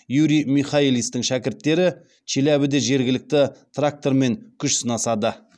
юрий михайлистің шәкірттері челябіде жергілікті трактормен күш сынасады